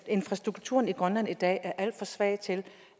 infrastrukturen i grønland er i dag alt for svag til